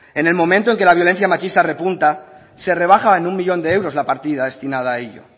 en el momento en que la violencia machista repunta se rebaja en uno millón de euros la partida destinada a ello